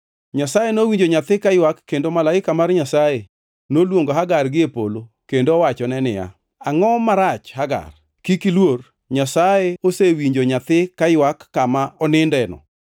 Nyasaye nowinjo nyathi kaywak kendo malaika mar Nyasaye noluongo Hagar gie polo kendo owachone niya, “Angʼo marach, Hagar? Kik iluor; Nyasaye osewinjo nyathi kaywak kama onindeno.